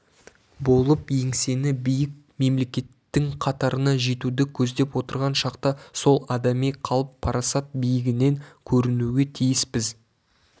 болып еңсесі биік мемелекеттің қатарына жетуді көздеп отырған шақта сол адами қалып-парасат биігінен көрінуге тиіспіз